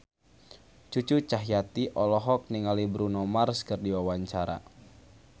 Cucu Cahyati olohok ningali Bruno Mars keur diwawancara